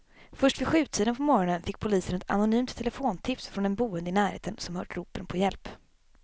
Först vid sjutiden på morgonen fick polisen ett anonymt telefontips från en boende i närheten som hört ropen på hjälp.